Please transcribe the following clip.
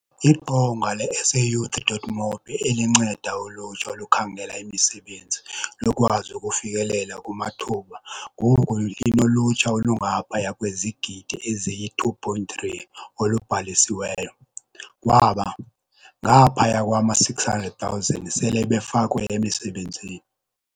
Iqonga le-SAYouth.mobi elinceda ulutsha olukhangela imisebenzi lukwazi ukufikelela kumathuba ngoku linolutsha olungaphaya kwezigidi eziyi-2.3 olubhalisiweyo. Kwaba, ngaphaya kwama-600 000 sele befakwe emisebenzini.